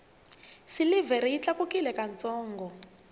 silivhere yi tlakukile ka ntsongo